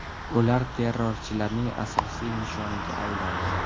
Ular terrorchilarning asosiy nishoniga aylandi.